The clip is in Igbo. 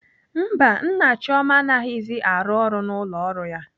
Mba, Nna Chioma anaghịzi arụ ọrụ n'ụlọ ọrụ ya.